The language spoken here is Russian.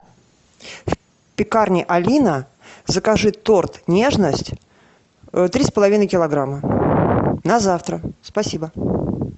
в пекарне алина закажи торт нежность три с половиной килограмма на завтра спасибо